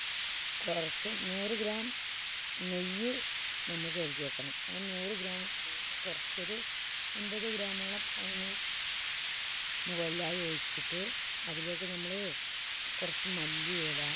കുറച്ച് നൂറ് gram നെയ്യ് നമ്മൾ കരുതിയേക്കണം. ആ നൂറ് gram നെയ്യ് കുറച്ചൊരു അൻപത് gram മോളം അതിന് മുകളിലായി ഒഴിച്ചിട്ട് അതിലേക്ക് നമ്മള് കുറച്ച് മല്ലി ഇല